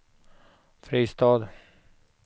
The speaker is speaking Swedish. Fristad